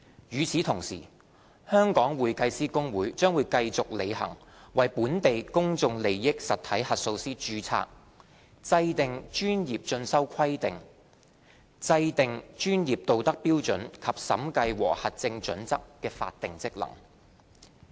與此同時，香港會計師公會將繼續履行為本地公眾利益實體核數師註冊、制訂專業進修規定、制訂專業道德標準及審計和核證準則的法定職能。